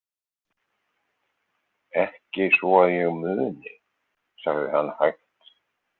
Ekki svo að ég muni, sagði hann hægt.